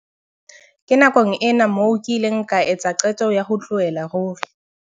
"Ke nakong ena moo ke ileng ka etsa qeto ya ho tlohella ruri."